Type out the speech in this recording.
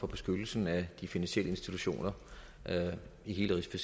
beskyttelsen af de finansielle institutioner i hele